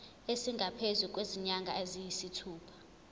esingaphezu kwezinyanga eziyisithupha